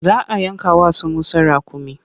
Za a yanka wa su Musa raƙumi.